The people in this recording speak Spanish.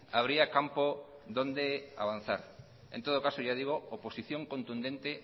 habría campo donde avanzar en todo caso ya digo oposición contundente